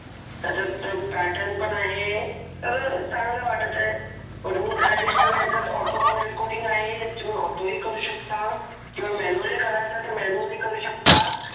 त्याच्यात पॅटर्न पण आहे तर चांगला वाटत आहे आणि याच्यात ऑटो कॉल रेकॉर्डिंग ी करू शकता किंवा मॅनुअली करायचं तर मॅनुअलल्य करू शकता.